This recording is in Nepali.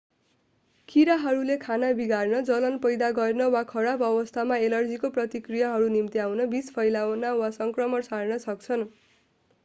कीराहरूले खाना बिगार्न जलन पैदा गर्न वा खराब अवस्थामा एलर्जीको प्रतिक्रियाहरू निम्त्याउन विष फैलाउन वा सङ्क्रमण सार्न सक्छन्